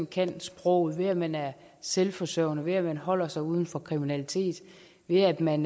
kan sproget ved at man er selvforsørgende ved at man holder sig ude af kriminalitet ved at man